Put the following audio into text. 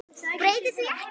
Breyti því ekki.